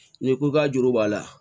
N'i ko i ka juru b'a la